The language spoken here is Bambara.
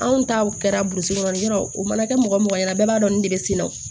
Anw taw kɛra burusi kɔnɔ yɔrɔ o mana kɛ mɔgɔ mɔgɔ ɲɛna bɛɛ b'a dɔn nin de bɛ sini o